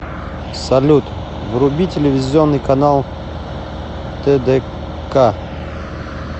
салют вруби телевизионный канал тдк